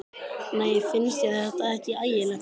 Nei, finnst þér þetta ekki ægilegt?